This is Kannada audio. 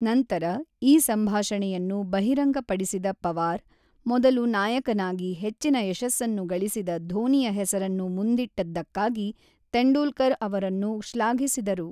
ನಂತರ ಈ ಸಂಭಾಷಣೆಯನ್ನು ಬಹಿರಂಗಪಡಿಸಿದ ಪವಾರ್, ಮೊದಲು ನಾಯಕನಾಗಿ ಹೆಚ್ಚಿನ ಯಶಸ್ಸನ್ನು ಗಳಿಸಿದ ಧೋನಿಯ ಹೆಸರನ್ನು ಮುಂದಿಟ್ಟದ್ದಕ್ಕಾಗಿ ತೆಂಡೂಲ್ಕರ್ ಅವರನ್ನು ಶ್ಲಾಘಿಸಿದರು.